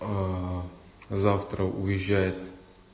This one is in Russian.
завтра уезжает